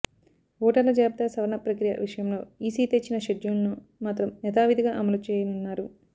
ఓటర్ల జాబితా సవరణ ప్రక్రియ విషయంలో ఈసీ ఇచ్చిన షెడ్యూల్ను మాత్రం యథావిధిగా అమలు చేయనున్నారు